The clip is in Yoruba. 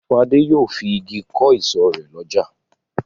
Fọlá yóò fi igi kọ́ ìsọ̀ rẹ̀ lọ́jà.